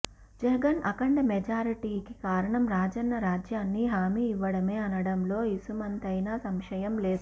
జగన్ అఖండ మెజారిటీకి కారణం రాజన్న రాజ్యాన్ని హామీ ఇవ్వడమే అనడంలో ఇసుమంతైనా సంశయం లేదు